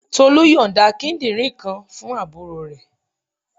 Tolu yonda kíndìnrín kan fún àbúrò rẹ.